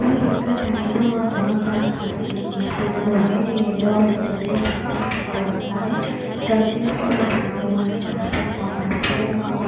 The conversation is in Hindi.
ये दिन का टाइम है और बहुत बड़ा घर अ घर बना हुआ है जो यल्लो और ब्लू कलर के पेंट से पेंट हो रखा है सर्किल सा बना हुआ है जहाँ पे एक बहुत बड़ा पेड़ लगा हुआ --